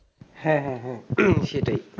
হ্যাঁ হ্যাঁ হ্যাঁ হম সেটাই,